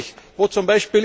Ich frage mich, wo z.